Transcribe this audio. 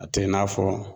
A tɛ i n'a fɔ